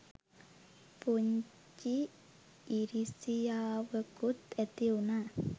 පුංචි ඉරිසියාවකුත් ඇතිවුනා.